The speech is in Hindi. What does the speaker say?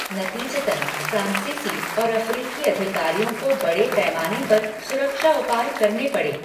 नतीजतन, फ्रांसीसी और अफ्रीकी अधिकारियों को बड़े पैमाने पर सुरक्षा उपाय करने पड़े।